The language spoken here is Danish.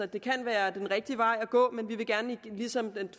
det kan være den rigtige vej at gå men vi vil gerne ligesom den